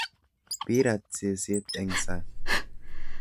Birat seset eng sang.